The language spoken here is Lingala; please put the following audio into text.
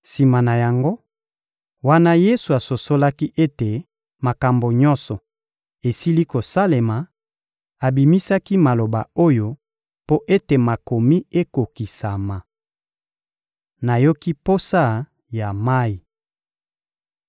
Sima na yango, wana Yesu asosolaki ete makambo nyonso esili kosalema, abimisaki maloba oyo mpo ete Makomi ekokisama: — Nayoki posa ya mayi.